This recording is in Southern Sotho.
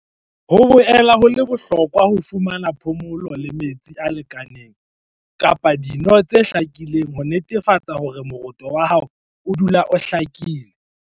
"Ho boela ho le bohlokwa ho fumana phomolo le metsi a lekaneng kapa dino tse hlakileng ho netefatsa hore moroto wa hao odula o hlakile."